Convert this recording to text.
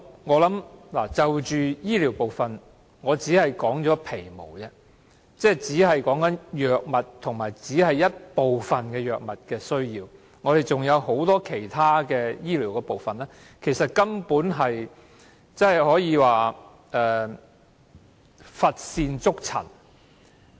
我就醫療部分只說出了皮毛，只說出了一部分藥物上的需要，還有很多其他醫療範疇其實根本可以說是乏善足陳。